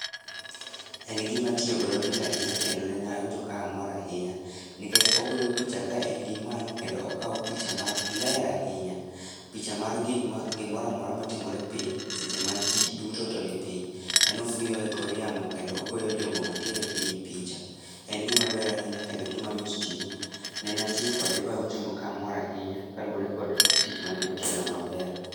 En gima tiyo godo mit ahinya kendo nene awinjo ka amor ahinya, nikech ogoyo picha ka en gi malo kendo okaw picha ma ler ahinya. Picha mar gik ma, gimoramora matimore piny seche ma jii duto to nipiny. En ofuyo elor yamo kendo ogoyo jogo mantiere piny picha. En gimaber ahinya kendo gimamit tiyogo. Nene atiyo kode bawinjo kamor ahinya kaluwore kod tich mane otiyo na maber